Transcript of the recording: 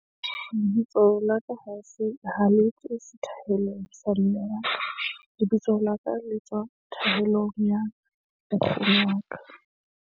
Lebitso la ka ha se ha le tswe sethaelong sa mme wa ka, lebitso la ka le tswa thaelong ya wa ka.